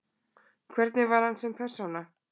Hvernig var hann sem persóna?